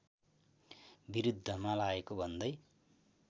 विरुद्धमा लागेको भन्दै